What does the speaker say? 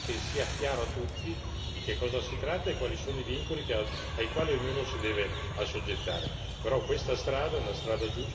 Bisognerà scrivere in modo tale che sia chiaro a tutti di che cosa si tratta e quali sono i vincoli ai quali ognuno si deve assoggettare.